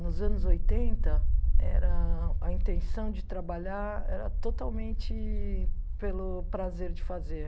Nos anos oitenta, era a intenção de trabalhar era totalmente pelo prazer de fazer.